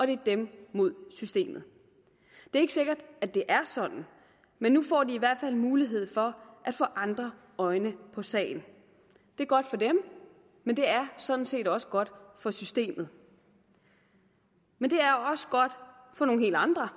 det er dem mod systemet det er ikke sikkert det er sådan men nu får de i hvert fald en mulighed for at få andre øjne på sagen det er godt for dem men det er sådan set også godt for systemet men det er også godt for nogle helt andre